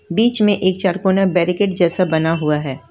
बीच में एक चरकूना बैरीकेट जैसा बना हुआ है।